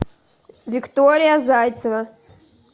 виктория зайцева